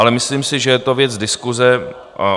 Ale myslím si, že je to věc diskuse.